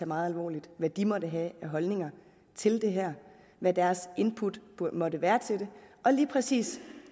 meget alvorligt hvad de måtte have af holdninger til det her hvad deres input måtte være til det og lige præcis